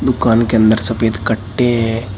दुकान के अंदर सफेद कट्टे हैं।